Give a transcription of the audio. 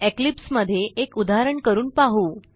Eclipse मध्ये एक उदाहरण करून पाहू